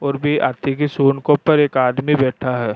और भी हांथी के सूंड के ऊपर एक आदमी बैठा है।